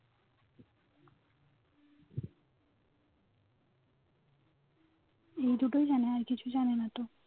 এই দুটোই জানে. আর কিছু জানে না তো